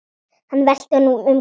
Hann velti honum um koll.